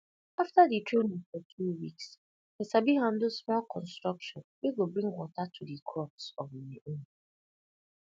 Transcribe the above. after di training for two weeks i sabi handle small construction wey go bring water to di crops on my own